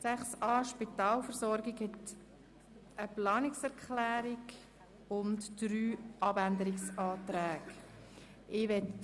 Hierzu liegen eine Planungserklärung sowie drei Abänderungsanträge vor.